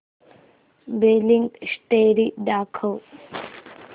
billing history दाखव